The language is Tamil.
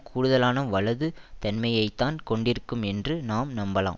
கூடுதலான வலது தன்மையை தான் கொண்டிருக்கும் என்று நாம் நம்பலாம்